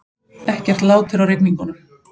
Ekkert lát er á rigningunum